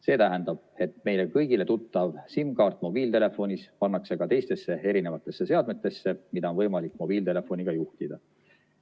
See tähendab, et meile kõigile tuttav SIM-kaart mobiiltelefonis pannakse ka teistesse seadmetesse, mida on võimalik mobiiltelefoniga juhtida.